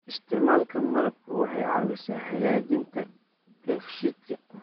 Isticmaalka malabku waxay caawisaa hagaajinta dheefshiidka.